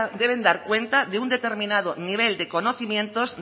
deben dar cuenta de un determinado nivel de conocimientos